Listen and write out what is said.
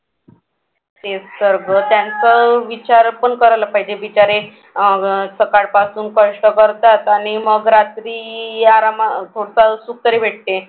तेच तर ग त्यांचं विचार पण करायला पाहिजे बिचारे सकाळपासून कष्ट करतात आणि मग रात्री सुख तरी भेटते.